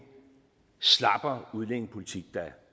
slappere udlændingepolitik der